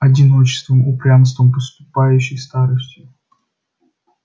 одиночеством упрямством подступающей старостью